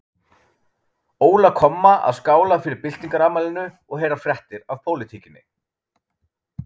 Óla komma að skála fyrir byltingarafmælinu og heyra fréttir af pólitíkinni.